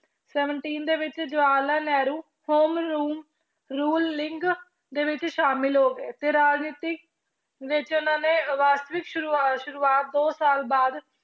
Seventy ਦੇ ਵਿੱਚ Jawahar Lal Nehru ruling ਦੇ ਵਿੱਚ ਸ਼ਾਮਿਲ ਹੋ ਗਏ ਤੇ ਰਾਜਨੀਤੀ ਵਿੱਚ ਉਹਨਾਂ ਨੇ ਵਾਸਤਵਿਕ ਸ਼ੁਰੂਆ~ ਸ਼ੁਰੂਆਤ ਦੋ ਸਾਲ ਬਾਅਦ